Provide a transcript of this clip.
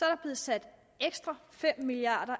er blevet sat ekstra fem milliard